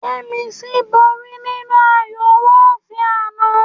Yẹ́misí borí nínú ayọ̀ wọ́ọ̀tì àná